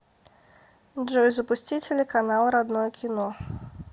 джой запусти телеканал родное кино